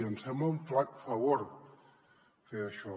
ens sembla un flac favor fer això